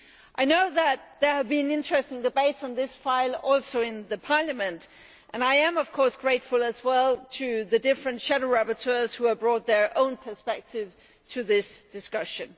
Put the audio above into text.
I know that there have been interesting debates on this file also within Parliament, and I am of course grateful as well to the different shadow rapporteurs who have brought their own perspective to this discussion.